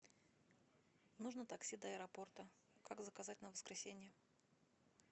нужно такси до аэропорта как заказать на воскресенье